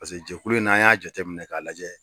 Paseke jɛkulu in na an y'a jate minɛ k'a lajɛ.